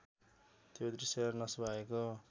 त्यो दृश्य नसुहाएको